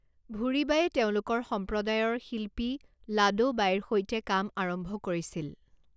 ভূৰী বাঈয়ে তেওঁলোকৰ সম্প্ৰদায়ৰ শিল্পী লাডো বাঈৰ সৈতে কাম আৰম্ভ কৰিছিল।